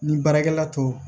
Ni baarakɛla to